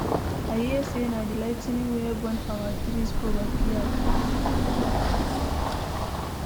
I hear say na the ligh ten ing wey burn our tree for backyard.